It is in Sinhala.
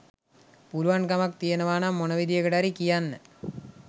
පුළුවන්කමක්තියෙනවානම් මොනවිදිහකටහරි කියන්න